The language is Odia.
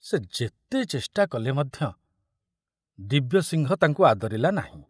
ସେ ଯେତେ ଚେଷ୍ଟା କଲେ ମଧ୍ୟ ଦିବ୍ୟସିଂହ ତାଙ୍କୁ ଆଦରିଲା ନାହିଁ।